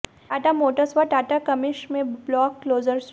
Tata Motors व Tata Cummins में block closure शुरू